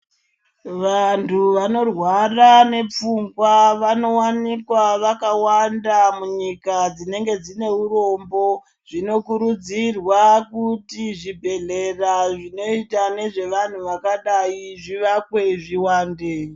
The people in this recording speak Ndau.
Vantu vanorwara nepfungwa vanowanikwa vakawanda munyika dzinenge dzineurombo zvinokurudzirwa kuti zvibhedhlera zvinoita nezvevanhu zvakadai zvivakwe zviwande.